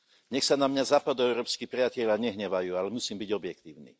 Nech sa na mňa západoeurópski priatelia nehnevajú, ale musím byť objektívny.